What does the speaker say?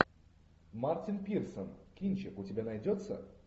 мартин пирсон кинчик у тебя найдется